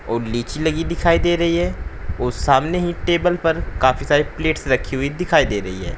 और लीची लगी हुई दिखाई दे रही है वह सामने ही टेबल पर काफी सारे प्लेट्स रखी हुई दिखाई दे रही है।